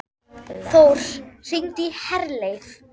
Þór, hringdu í Herleif.